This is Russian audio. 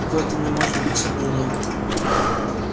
в этом не может быть сомнения